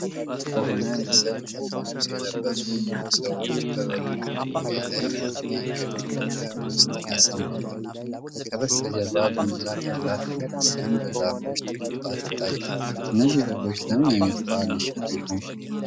ጥቁርና ነጭ በሆነው ምስል፣ ነጭ ልብስ የለበሱ ብዙ ሰዎች በጎችን በድንጋይ ላይ በሚገኝ ክፍት ገበያ ውስጥ ያሰማራሉ። ከበስተጀርባ ጉልላት ያላት ቤተክርስቲያን በዛፎች ተከባ ትታያለች። እነዚህ በጎች ለምን ዓይነት በዓል ሊሸጡ ይሆን?